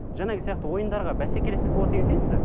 жаңағы сияқты ойындарға бәсекелестік болады дегенге сенесіз бе